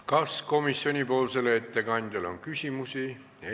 Kas komisjoni ettekandjale on küsimusi?